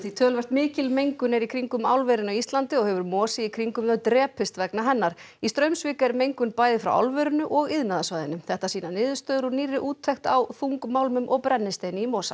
töluvert mikil mengun er í kringum álverin á Íslandi og hefur mosi í kringum þau drepist vegna hennar í Straumsvík er mengun bæði frá álverinu og iðnaðarsvæðinu þetta sýna niðurstöður úr nýrri úttekt á þungmálmum og brennisteini í mosa